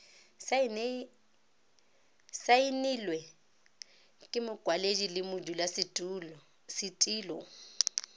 saenilwe ke mokwaledi le modulasetilo